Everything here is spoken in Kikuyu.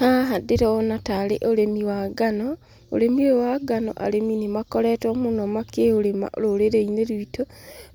Haha ndĩrona tarĩ ũrĩmi wa ngano, ũrĩmi ũyũ wa ngano arĩmi nĩ makoretwo mũno makĩũrĩma rũrĩrĩ-inĩ rwitũ.